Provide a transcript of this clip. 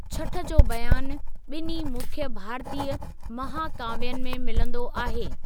छठ जो बयानु ॿिन्हीं मुख्य भारतीय महाकाव्यनि में मिलंदो आहे।